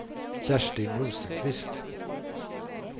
Kerstin Rosenqvist